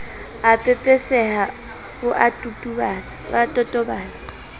a pepeseha o a totobala